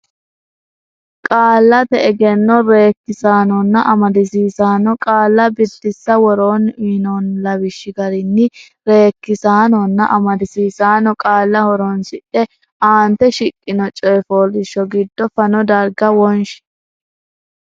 Qaallate Egenno Reekkisaanonna Amadisiisaano Qaalla Biddissa Woroonni uyinoonni lawishshi garinni reekkisaanonna amadisiisaano qaalla horonsidhe aante shiqqino coy fooliishsho giddo fano darga wonshi.